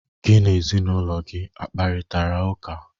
Gị na ezinụlọ gị a kparịtara ụka?